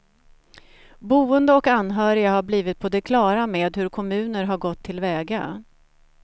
Boende och anhöriga har blivit på det klara med hur kommuner har gått tillväga.